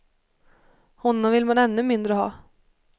Honom vill man ännu mindre ha.